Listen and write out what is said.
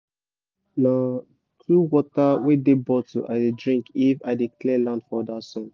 na two water wey dey bottle i dey drink if i dey clear land for under sun